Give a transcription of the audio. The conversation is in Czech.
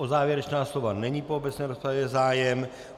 O závěrečná slova není v obecné rozpravě zájem.